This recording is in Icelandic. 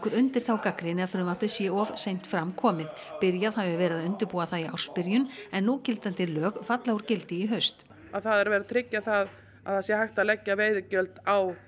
undir þá gagnrýni að frumvarpið sé of seint fram komið byrjað hafi verið að undirbúa það í ársbyrjun en núgildandi lög falla úr gildi í haust það er verið að tryggja það að það sé hægt að leggja veiðigjöld á